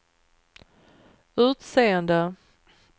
utseende